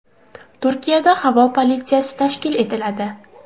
Turkiyada havo politsiyasi tashkil etiladi.